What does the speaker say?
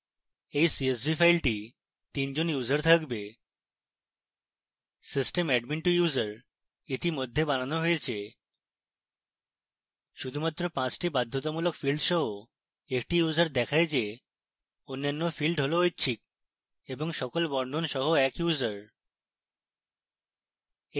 we csv file 3 জন users থাকবে: